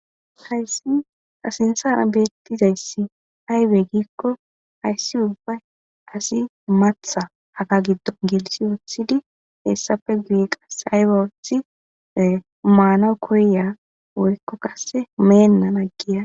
Hayssi ta sinththara bettizayssi aybe giikko hayssi uubbay asi maaththa haga giddo gelsii wooththidii eessappe guye asay ooththi maanawu koyiya woykko qase meena agiya